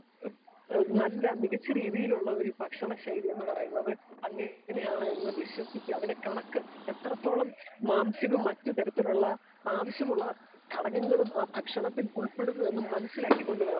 speaker 2 നല്ല മികച്ച രീതിയിലുള്ള ഭക്ഷണ ശൈലി എന്ന് പറയുന്നത് അങ്ങനെ ആണ് എന്ന് വിശ്വസിച്ചു അതിന്റെ കണക്ക് എത്രെത്തോളം മാംസവും മറ്റ് തരത്തിലുള്ള ആവിശ്യമുള്ള ഘടകങ്ങളും ആ ഭക്ഷണത്തിൽ ഉൾപ്പെടുന്നു എന്ന് മനസ്സിലാക്കി കൊണ്ട് വേണം